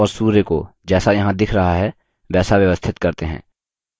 अब बादलों और सूर्य को जैसा यहाँ दिख रहा है वैसा व्यवस्थित करते हैं